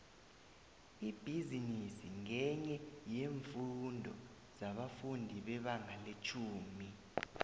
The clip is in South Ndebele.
ibhizinisi ngenye yeemfundo zabafundi bebanga letjhumi